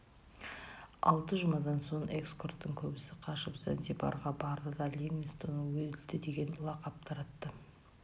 алты жұмадан соң эскорттың көбісі қашып занзибарға барды да ливингстон өлді деген лақап таратты